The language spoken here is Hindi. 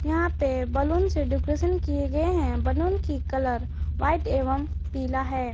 यहां पे बैलून से डेकोरेशन किए गए हैं बैलून की कलर व्हाइट एवं पीला है।